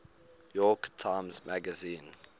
york times magazine